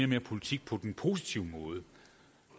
mere politik på den positive måde